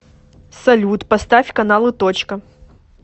салют поставь каналы точка